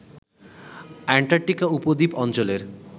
Antarctica উপদ্বীপ অঞ্চলের